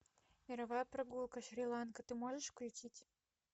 мировая прогулка шри ланка ты можешь включить